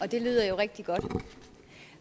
det lyder jo rigtig godt